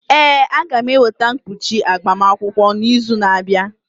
Ee, a ga m eweta mkpuchi agbamakwụkwọ n'izu na-abịa.